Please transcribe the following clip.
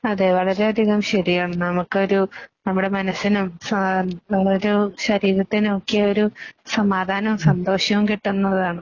അതേ വളരെയധികം ശരിയാണ്. നമുക്കൊരു നമ്മുടെ മനസ്സിനും ശരീരത്തിനുമൊക്കെയൊരു സമാധാനവും സന്തോഷവും കിട്ടുന്നതാണ്.